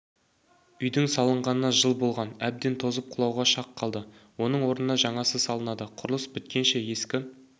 үйдің салынғанына жыл болған әбден тозып құлауға шақ қалды оның орнына жаңасы салынады құрылыс біткенше ескі